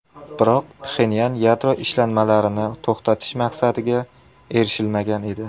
Biroq Pxenyan yadro ishlanmalarini to‘xtatish maqsadiga erishilmagan edi.